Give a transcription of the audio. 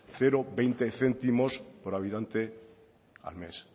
cero coma veinte céntimos por habitante al mes